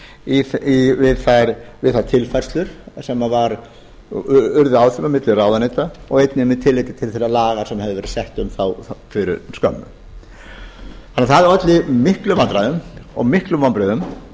að þyrfti við þær tilfærslur sem urðu áfram á milli ráðuneyta og einnig með tilliti til þeirra laga sem höfðu verið sett um þá fyrir skömmu en það olli miklum vandræðum og miklum vonbrigðum